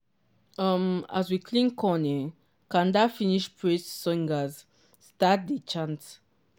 um as we clean corn um kanda finish praise singers start dia chant.